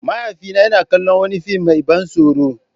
Mahaifina yana kallon wani fim mai ban tsoro.